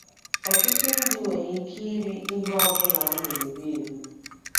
ỌTỤTỤ ndị nwere ike iri ihe ọ bụla a na - eri eri.